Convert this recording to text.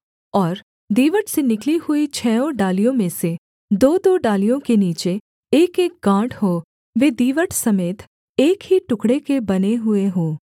और दीवट से निकली हुई छहों डालियों में से दोदो डालियों के नीचे एकएक गाँठ हो वे दीवट समेत एक ही टुकड़े के बने हुए हों